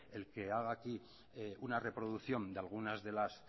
el que haga aquí una reproducción de algunas de las